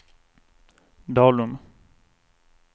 Dalum